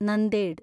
Nanded